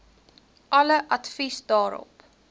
alle advies daarop